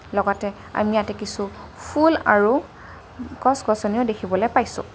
লগতে আমি ইয়াতে কিছু ফুল আৰু গছ-গছনিও দেখিবলৈ পাইছোঁ।